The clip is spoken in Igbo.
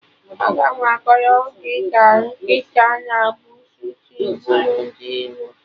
Aga m akọrọ gị ka nkịta na busuu si buru ndị iro